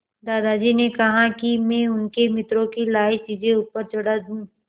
दादाजी ने कहा कि मैं उनके मित्रों की लाई चीज़ें ऊपर चढ़ा दूँ